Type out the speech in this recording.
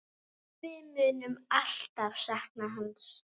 Við munum alltaf sakna hans.